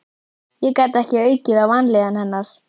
Ég gat ekki aukið á vanlíðan hennar.